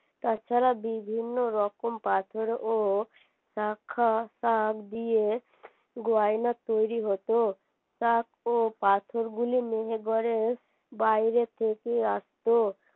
তাছাড়া বিভিন্ন রকম পাথর ও দিয়ে গয়না তৈরী হতো ও পাথরগুলি মেহেরগড়ের বাইরে থেকে আসতো